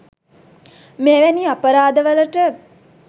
මෙවැනි අපරාධ වලට